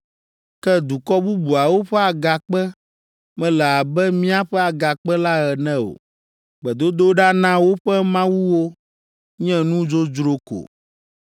Ke dukɔ bubuawo ƒe agakpe mele abe míaƒe Agakpe la ene o; gbedodoɖa na woƒe mawuwo nye nu dzodzro ko!